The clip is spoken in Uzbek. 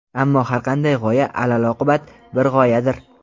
ammo har qanday g‘oya alaloqibat bir g‘oyadir.